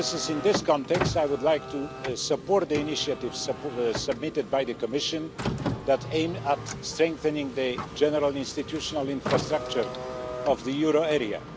In this context, I would like to support the initiative submitted by the Commission that aims at strengthening the general institutional infrastructure of the euro area.